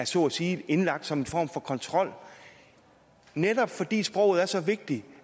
så at sige er indlagt som en form for kontrol netop fordi sproget er så vigtigt